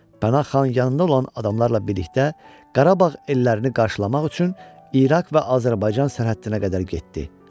Pənah xan yanında olan adamlarla birlikdə Qarabağ ellərini qarşılamaq üçün İraq və Azərbaycan sərhəddinə qədər getdi.